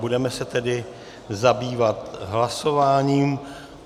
Budeme se tedy zabývat hlasováním.